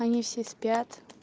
они все спят